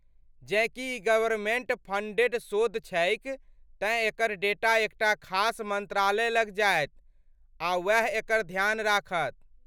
जेँ कि ई गवर्मेन्ट फंडेड शोध छैक, तेँ एकर डेटा एकटा खास मन्त्रालय लग जायत आ वैह एकर ध्यान राखत।